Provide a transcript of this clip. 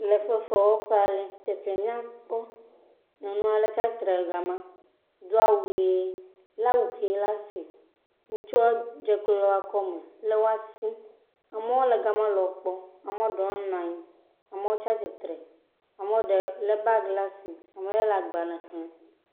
Le fefewɔƒe aɖe. Teƒea nyakpɔ nyɔnu aɖe trsiatre ɖe ga ma do awu ʋi. Le awu vi ɖe asi. Ŋursua dze klo ɖe woakɔme le awoa si. Amewo le ga ma le ekpɔm. Amea ɖewo nɔ anyi. Amewo tsia tsitre. Amewo le bagi ɖe asi, ame aɖe le agbale xlem.